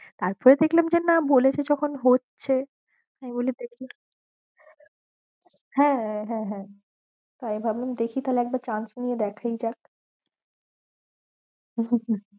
তারপরে দেখলাম যে না বলেছে যখন হচ্ছে হ্যাঁ হ্যাঁ হ্যাঁ হ্যাঁ তা আমি ভাবলাম দেখি তাহলে একবার chance নিয়ে দেখাই যাক।